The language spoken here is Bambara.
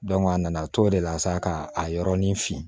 a nana a to o de la sa ka a yɔrɔnin fin